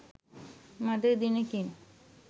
මඳ දිනෙකින්